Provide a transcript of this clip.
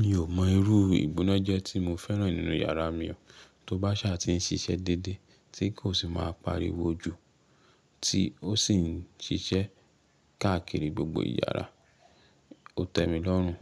Mi ò mọ irú ìbúnà jẹ́ tí mo fẹ́ràn nínú yàrá mi o. Tó bá sà ti ń ṣiṣẹ́ dédé tí kò si máa pariwo ju, tí ó sì ń ṣiṣẹ́ káàkiri gbogbo yàrá. O tẹ́ mi lọ́rùn,